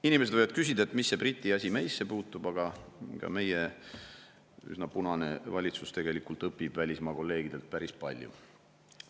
Inimesed võivad küsida, et mis see Briti asi meisse puutub, aga ka meie üsna punane valitsus tegelikult õpib välismaa kolleegidelt päris palju.